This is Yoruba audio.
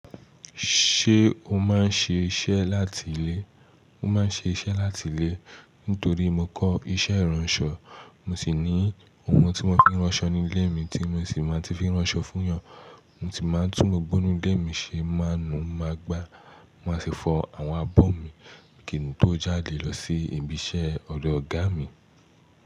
Ṣé o máa ń ṣe iṣẹ́ láti ilé? Mo máa ń ṣe iṣẹ́ láti ilé. Nítorí mo kọ́ iṣẹ́ ìránṣọ, mo sì ní ohun tí mo fi ń ránṣọ ní ilé mi tí mo sì máa ń fi ránṣọ fún ènìyàn. Mo sì máa ń tún gbogbo inú ilé mi ṣe máà nú máa gbá. Mo máa sì fọ àwọn abọ́ mi. Kìn tó jáde lọ sí ibi iṣẹ́ ọ̀dọ̀ ọ̀gá mi.